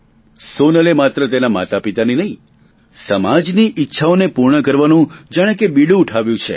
સોનલે માત્ર તેના માતાપિતાની નહીં સમાજની ઇચ્છાઓને પૂર્ણ કરવાનું જાણે કે બીડું ઉઠાવ્યું છે